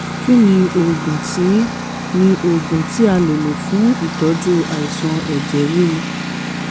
kí ni oògùn tí ni oògùn tí a lè lò fún ìtọ́jú àìsàn ẹ̀jẹ̀ ríru?